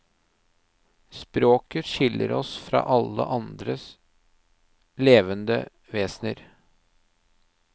Språket skiller oss fra alle andre levende vesener.